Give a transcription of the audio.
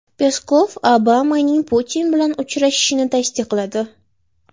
Peskov Obamaning Putin bilan uchrashishini tasdiqladi.